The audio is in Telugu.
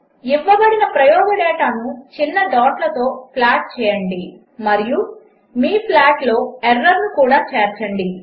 ఇవ్వబడిన ప్రయోగ డేటాను చిన్న డాట్లతో ప్లాట్ చేయండి మరియు మీ ప్లాట్లో ఎర్రర్ను కూడా చేర్చండి